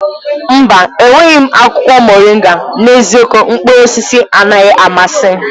Mba! Enweghị m akwụkwọ moringa. N'eziokwu, mkpụrụ osisi anaghị amasị m.